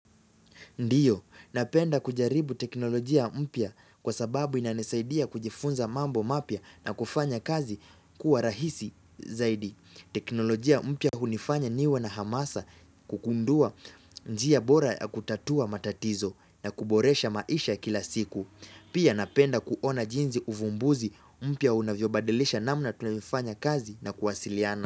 Ndio, napenda kujaribu teknolojia mpya kwa sababu inanisaidia kujifunza mambo mapya na kufanya kazi kuwa rahisi zaidi. Teknolojia mpya hunifanya niwe na hamasa, kugundua njia bora ya kutatua matatizo na kuboresha maisha kila siku. Pia napenda kuona jinsi uvumbuzi mpya unavyobadilisha namna tunavyofanya kazi na kuwasiliana.